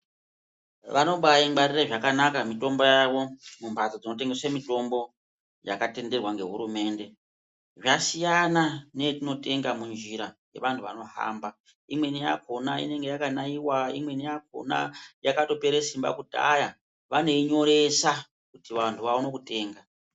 Vanobaingwarira zvakanaka mitombo yavo mumhatso dzinotengese mitombo yakatenderwa ngehurumende. Zvasiyana neyetinotenga munjira yevanhu vanohamba. Umweni yakhona inenge yakanaiwa. Imweni yakhona inenge yakatopera simba kudhaya vanoinyoresa kuti vangu vaone kutenga.